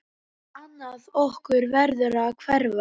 Annað okkar verður að hverfa.